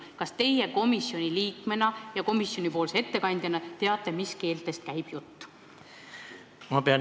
Kas teie komisjoni liikmena ja komisjoni ettekandjana teate, mis keeltest käib jutt?